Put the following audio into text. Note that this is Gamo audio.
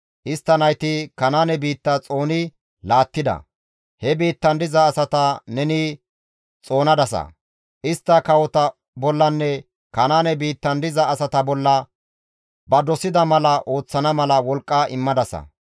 Istta nayti Kanaane biitta xooni laattida; he biittan diza asata neni xoonadasa; istta kawota bollanne Kanaane biittan diza asaa bolla ba dosida mala ooththana mala wolqqa immadasa.